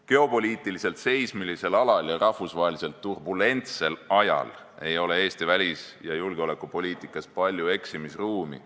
Geopoliitiliselt seismilisel alal ja rahvusvaheliselt turbulentsel ajal ei ole Eesti välis- ja julgeolekupoliitikas palju eksimisruumi.